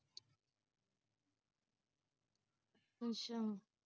ਅੱਛਾ